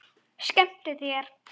Skemmtu þér.